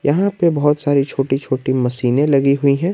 यहां पे बहोत सारी छोटी छोटी मशीने लगी हुई है।